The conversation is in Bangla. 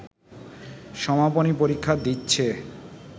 সমাপনী পরীক্ষা দিচ্ছে